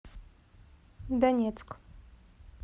донецк